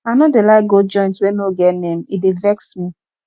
i no dey like go joint wey no get name e dey vex me